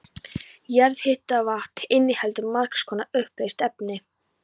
Jarðhitavatn inniheldur margs konar uppleyst efni.